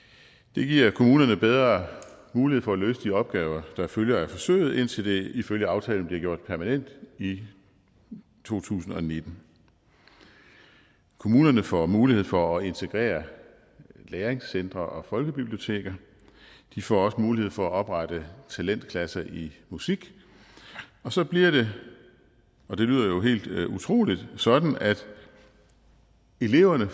det giver kommunerne bedre mulighed for at løse de opgaver der følger af forsøget indtil det ifølge aftalen bliver gjort permanent i to tusind og nitten kommunerne får mulighed for at integrere læringscentre og folkebiblioteker de får også mulighed for at oprette talentklasser i musik og så bliver det og det lyder jo helt utroligt sådan at eleverne